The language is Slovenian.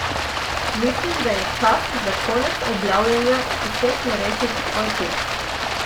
Mislim, da je čas za konec objavljanja vseh neresnic o ekipi.